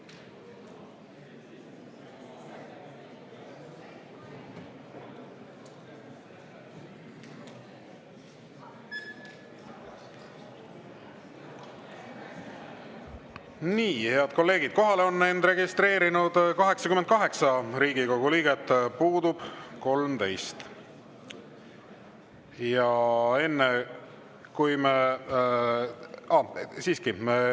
Nii, head kolleegid, kohalolijaks on end registreerinud 88 Riigikogu liiget, puudub 13.